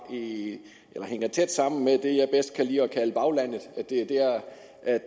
at hænger tæt sammen med det jeg bedst kan lide at kalde baglandet altså at det er dér